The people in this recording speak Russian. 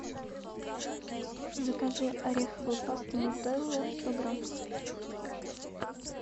закажи ореховую пасту нутелла сто грамм